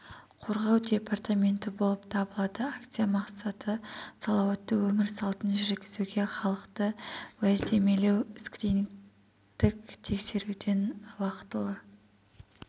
қорғау департаменті болып табылады акция мақсаты салауатты өмір салтын жүргізуге халықты уәждемелеу скринингтік тексеруден уақытылы